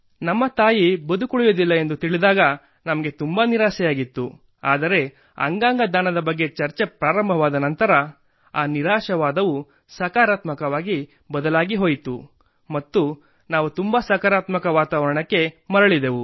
ನಮ್ಮ ತಾಯಿ ಬದುಕುಳಿಯುವುದಿಲ್ಲ ಎಂದು ತಿಳಿದಾಗ ನಮಗೆ ತುಂಬಾ ನಿರಾಸೆಯಾಗಿತ್ತು ಆದರೆ ಅಂಗಾಂಗ ದಾನದ ಬಗ್ಗೆ ಚರ್ಚೆ ಪ್ರಾರಂಭವಾದ ನಂತರ ಆ ನಿರಾಶಾವಾದವು ಸಕಾರಾತ್ಮಕವಾಗಿ ಬದಲಾಗಿಹೋಯಿತು ಮತ್ತು ನಾವು ತುಂಬಾ ಸಕಾರಾತ್ಮಕ ವಾತಾವರಣಕ್ಕೆ ಮರಳಿದೆವು